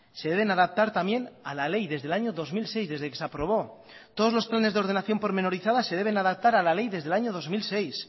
se deben adaptar también a la ley desde el año dos mil seis desde que se aprobó todos los planes de ordenación pormenorizadas se deben adaptar a la ley desde el año dos mil seis